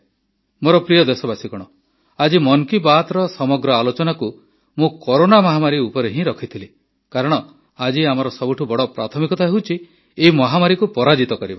ମୋର ପ୍ରିୟ ଦେଶବାସୀଗଣ ଆଜି ମନ୍ କୀ ବାତ୍ର ସମଗ୍ର ଆଲୋଚନାକୁ ମୁଁ କରୋନା ମହାମାରୀ ଉପରେ ହିଁ ରଖିଥିଲି କାରଣ ଆଜି ଆମର ସବୁଠୁ ବଡ଼ ପ୍ରାଥମିକତା ହେଉଛି ଏହି ମହାମାରୀକୁ ପରାଜିତ କରିବା